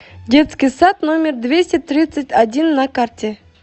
детский сад номер двести тридцать один на карте